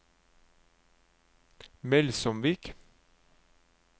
Melsomvik